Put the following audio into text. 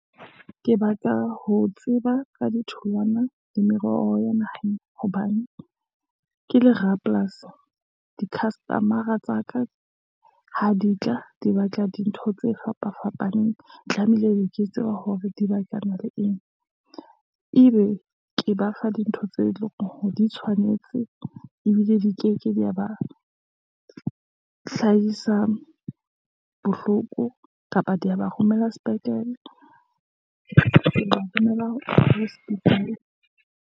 Ke batla ho tseba ka ditholwana le meroho ya naheng, hobane ke le rapolasi di-customer-a tsa ka ha di tla di batla dintho tse fapa fapaneng, tlamehile ke tseba hore di batlana le eng, ebe ke ba fa dintho tse leng hore di tshwanetse, ebile di ke ke di ya ba hlahisa bohloko kapa di ya ba romela sepetlele b sepetlele hospital.